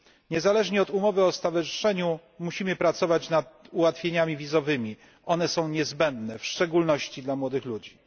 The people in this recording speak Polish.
Niezależnie od umowy o stowarzyszeniu musimy pracować nad ułatwieniami wizowymi, ponieważ są one niezbędne, w szczególności dla młodych ludzi.